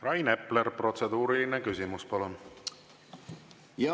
Rainer Epler, protseduuriline küsimus, palun!